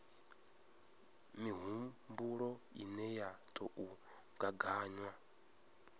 mihumbulo ine ya tou gaganywa